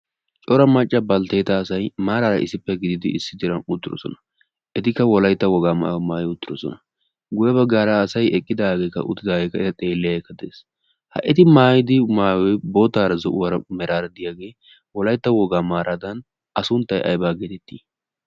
cora macca balttetta asay etikka issippe gidida issi diran uttidoosona. etikka wolaytta wogaa maayuwa maayyi uttidoosona. guyye baggarakka eta xeelidi de'iyaa asaykke de'ees. ha etikka maayi uttidooge boottara, zo'uwara meraara diyaage wolaytta wogaa maaradan a sunttay aybba getetti?